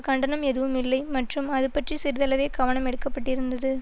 கண்டனம் எதுவுமில்லை மற்றும் அதுபற்றி சிறிதளவே கவனம் எடுக்கப்பட்டிருந்தது